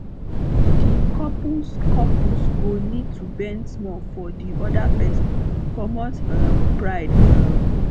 di couples couples go need to bend small for di oda person comot um pride um